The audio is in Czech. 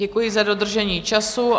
Děkuji za dodržení času.